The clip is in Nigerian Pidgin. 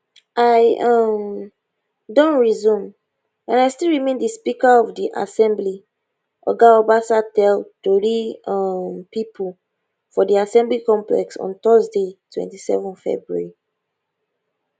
i um don resume and i still remain di speaker of di assembly oga obasa tell tori um pipo for di assembly complex on thursday 27 february